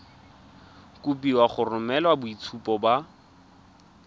kopiwa go romela boitshupo ba